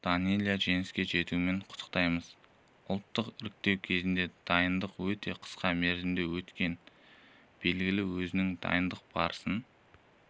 данэлия жеңіске жетуіңмен құттықтаймыз ұлттық іріктеу кезеңіне дайындық өте қысқа мерзімде өткені белгілі өзің дайындық барысын